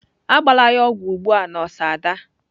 Agbala ya ogwu ugbu a nọọsụ Ada!